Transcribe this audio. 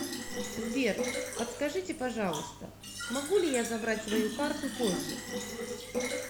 сбер подскажите пожалуйста могу ли я забрать свою карту позже